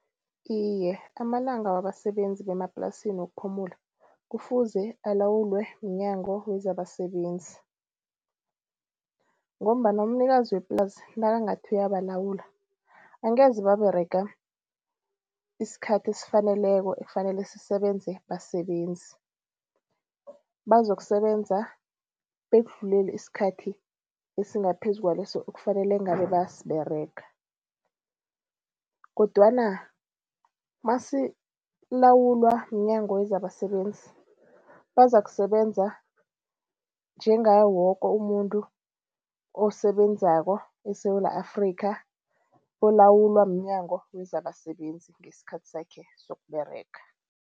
Iye, amalanga wabasebenzi bemaplasini wokuphumula kufuze alawulwe mNyango wezabaSebenzi ngombana umnikazi weplasi nakangathi uyabalawula angeze baberega isikhathi esifaneleko ekufanele sisebenze basebenzi. Bazokusebenza bekudlulele isikhathi esingaphezu kwaleso ekufanele ngabe bayasiberega kodwana masilawulwa mNyango wezabaSebenzi, bazakusebenza njengaye woke umuntu osebenzako eSewula Afrikha olawulwa mNyango wezabaSebenzi ngesikhathi sakhe sokUberega.